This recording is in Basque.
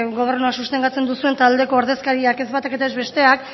gobernua sustengatzen duzuen taldeko ordezkariak ez batak eta ez besteak